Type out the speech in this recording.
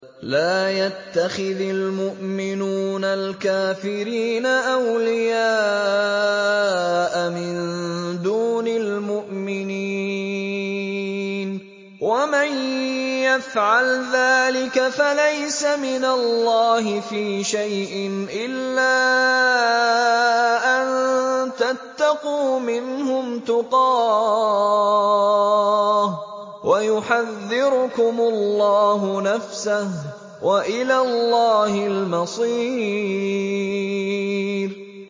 لَّا يَتَّخِذِ الْمُؤْمِنُونَ الْكَافِرِينَ أَوْلِيَاءَ مِن دُونِ الْمُؤْمِنِينَ ۖ وَمَن يَفْعَلْ ذَٰلِكَ فَلَيْسَ مِنَ اللَّهِ فِي شَيْءٍ إِلَّا أَن تَتَّقُوا مِنْهُمْ تُقَاةً ۗ وَيُحَذِّرُكُمُ اللَّهُ نَفْسَهُ ۗ وَإِلَى اللَّهِ الْمَصِيرُ